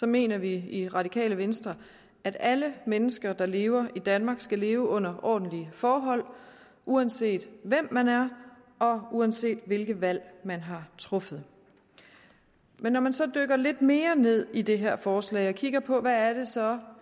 mener vi i radikale venstre at alle mennesker der lever i danmark skal leve under ordentlige forhold uanset hvem man er og uanset hvilke valg man har truffet men når man så dykker lidt mere ned i det her forslag og kigger på hvad det så